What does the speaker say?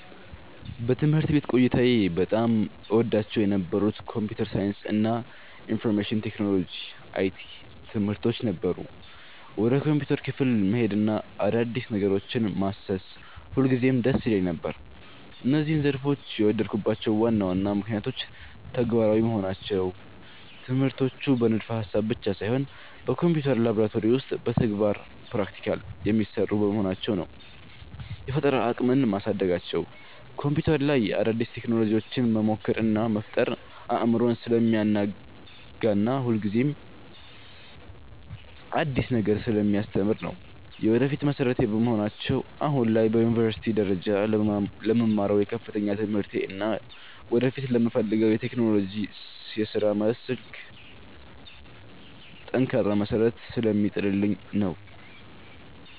በትምህርት ቤት ቆይታዬ በጣም እወዳቸው የነበሩት የኮምፒውተር ሳይንስ እና የኢንፎርሜሽን ቴክኖሎጂ (IT) ትምህርቶች ነበሩ። ወደ ኮምፒውተር ክፍል መሄድና አዳዲስ ነገሮችን ማሰስ ሁልጊዜም ደስ ይለኝ ነበር። እነዚህን ዘርፎች የወደድኩባቸው ዋና ዋና ምክንያቶች፦ ተግባራዊ መሆናቸው፦ ትምህርቶቹ በንድፈ-ሐሳብ ብቻ ሳይሆን በኮምፒውተር ላብራቶሪ ውስጥ በተግባር (Practical) የሚሰሩ በመሆናቸው ነው። የፈጠራ አቅምን ማሳደጋቸው፦ በኮምፒውተር ላይ አዳዲስ ቴክኖሎጂዎችን መሞከር እና መፍጠር አእምሮን ስለሚያናጋና ሁልጊዜም አዲስ ነገር ስለሚያስተምር ነው። የወደፊት መሠረቴ በመሆናቸው፦ አሁን ላይ በዩኒቨርሲቲ ደረጃ ለምማረው የከፍተኛ ትምህርቴ እና ወደፊት ለምፈልገው የቴክኖሎጂ የሥራ መስክ ጠንካራ መሠረት ስለሚጥሉልኝ ነው።